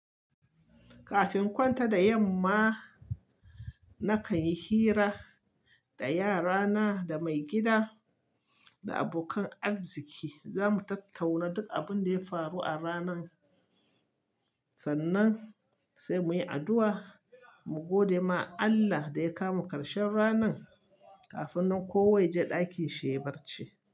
Kafin kwanta da yamma, nakan yi hira da yarana, da maigida da abokan arziki. Zamu tattauna duk abin da ya faru a ranan, sannan sai muyi addu'a mu gode ma Allah da ya kamo karshen ranan kafin nan kowa yaje ɗakinshi yayi barci.